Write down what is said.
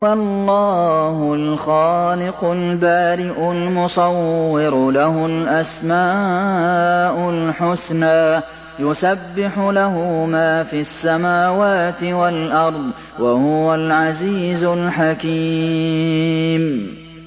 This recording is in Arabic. هُوَ اللَّهُ الْخَالِقُ الْبَارِئُ الْمُصَوِّرُ ۖ لَهُ الْأَسْمَاءُ الْحُسْنَىٰ ۚ يُسَبِّحُ لَهُ مَا فِي السَّمَاوَاتِ وَالْأَرْضِ ۖ وَهُوَ الْعَزِيزُ الْحَكِيمُ